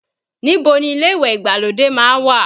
Níbo ni ilé ìwẹ̀ ìgbàlódé má ń wà?